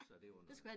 Så det var noget